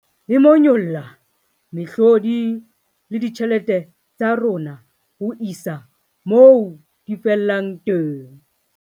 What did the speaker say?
E monyolla mehlodi le ditjhelete tsa rona ho isa moo di fellang teng.